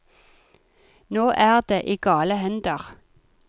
Nå er det i gale hender.